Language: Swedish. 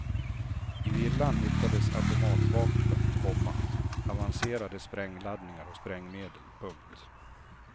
I villan hittades automatvapen, komma avancerade sprängladdningar och sprängmedel. punkt